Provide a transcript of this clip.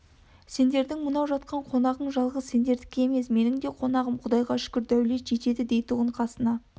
сендердің мынау жатқан қонағың жалғыз сендердікі емес менің де қонағым құдайға шүкір деулет жетеді дейтұғын қасына